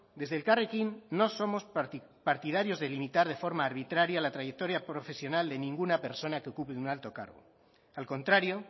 desde elkarrekin no somos partidarios de limitar de forma arbitraria la trayectoria profesional de ninguna persona que ocupe un alto cargo al contrario